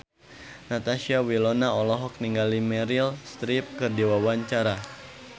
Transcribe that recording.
Natasha Wilona olohok ningali Meryl Streep keur diwawancara